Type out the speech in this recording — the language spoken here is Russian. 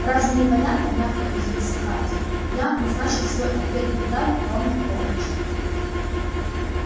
разве непонятно мягко удивился хардин я назначил свой ответный удар ровно в полночь